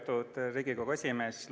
Lugupeetud Riigikogu esimees!